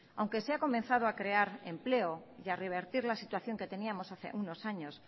aunque se ha comenzado a crear empleo y a revertir la situación que teníamos hace unos años